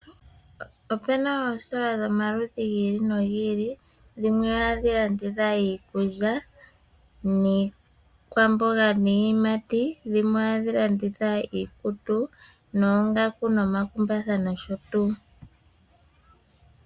Opuna oositola dhomaludhi gi ili nogi ili, dhimwe ohadhi landitha iikulya, niikwamboga, niiyimati, dhimwe ohadhi landitha iikutu noongaku, nomakumbatha nosho tuu.